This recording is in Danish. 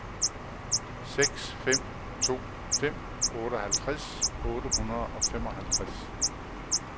seks fem to fem otteoghalvtreds otte hundrede og femoghalvtreds